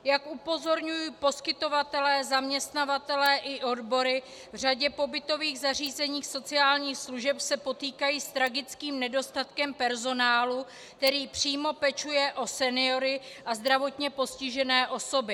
Jak upozorňují poskytovatelé, zaměstnavatelé i odbory, v řadě pobytových zařízení sociálních služeb se potýkají s tragickým nedostatkem personálu, který přímo pečuje o seniory a zdravotně postižené osoby.